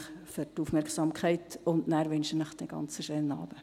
Ich wünsche Ihnen einen schönen Abend.